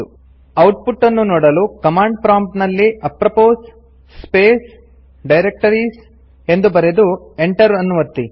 output ಅನ್ನು ನೋಡಲು command prompt ನಲ್ಲಿ ಅಪ್ರೊಪೊಸ್ ಸ್ಪೇಸ್ ಡೈರೆಕ್ಟರೀಸ್ ಎಂದು ಬರೆದು ಎಂಟರ್ ಅನ್ನು ಒತ್ತಿ